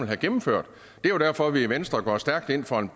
have gennemført det er jo derfor at vi i venstre går stærkt ind for en